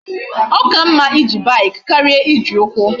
O ka mma ije bike karia Iji ukwu